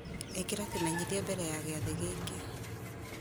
ĩkĩra kĩmenyithia mbere ya gĩathĩ gĩkĩ